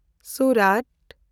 Surat